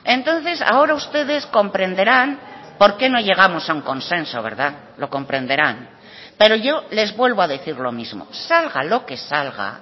entonces ahora ustedes comprenderán porqué no llegamos a un consenso verdad lo comprenderán pero yo les vuelvo a decir lo mismo salga lo que salga